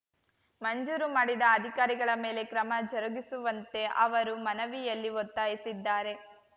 ಮಂಜೂರು ಮಾಡಿದ ಅಧಿಕಾರಿಗಳ ಮೇಲೆ ಕ್ರಮ ಜರುಗಿಸುವಂತೆ ಅವರು ಮನವಿಯಲ್ಲಿ ಒತ್ತಾಯಿಸಿದ್ದಾರೆ